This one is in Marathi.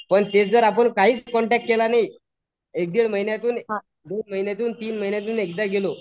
पण तेच जर आपण काहीच कॉन्टॅक्ट केला नाही एक दीड महीन्यातुन, दोन महिन्यातून, तीन महिन्यातून एकदा गेलो